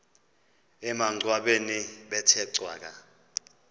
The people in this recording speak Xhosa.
emangcwabeni bethe cwaka